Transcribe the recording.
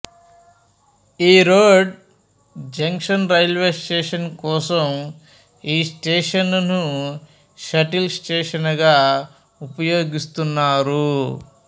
Erode junction railway station కోసం ఈ స్టేషనును షటిల్ స్టేషనుగా ఉపయోగిస్తున్నారు